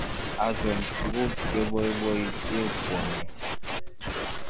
Achon tuguk cheboiboiite kwondo